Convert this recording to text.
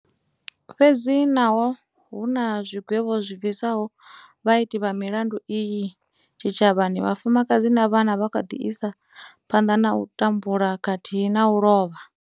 Fhedzi naho hu na zwigwevho zwi bvisaho vhaiti vha milandu iyi tshitshavhani, vhafumakadzi na vhana vha kha ḓi isa phanḓa na u tambula khathihi na u lovha.